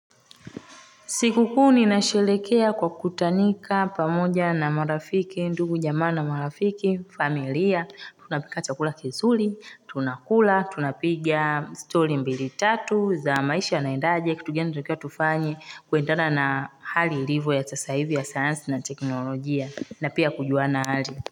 Siku kuu ninashelekea kwa kutanika pamoja na marafiki ndugu jamaa na marafiki familia tunapika chakula kizuli tunakula tunapiga story mbili tatu za maisha yanaendaje kitu gani tuntakiwa tufanye kuendana na hali ilivo ya sasa hivi ya sayansi na teknolojia na pia kujuana hali.